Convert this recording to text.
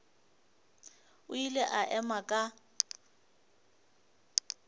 o ile a ema ka